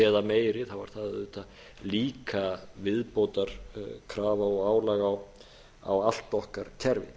eða meiri er það auðvitað líka viðbótarkrafa og álag á allt okkar kerfi